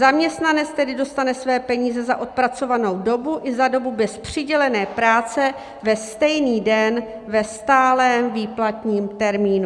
Zaměstnanec tedy dostane své peníze za odpracovanou dobu i za dobu bez přidělené práce ve stejný den ve stálém výplatním termínu.